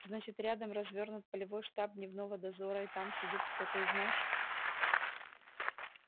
значит рядом развернут полевой штаб дневного дозора и там сидит кто-то из наших